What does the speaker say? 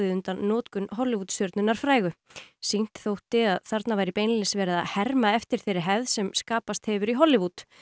undan notkun Hollywood stjörnunnar frægu sýnt þótti að þarna væri beinlínis verið að herma eftir þeirri hefð sem skapast hefur í Hollywood